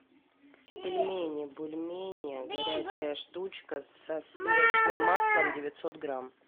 пельмени бульмени горячая штучка со сливочным маслом девятьсот грамм